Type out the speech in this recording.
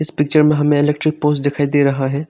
Picture में हमें electric pole दिखाई दे रहा है।